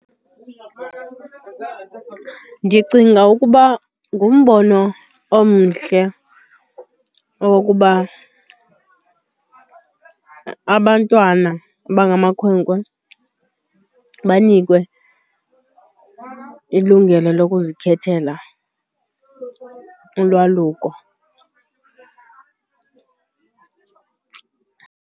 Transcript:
Ndicinga ukuba ngumbono omhle owokuba abantwana abangamakhwenkwe banikwe ilungelo lokuzikhethela ulwaluko.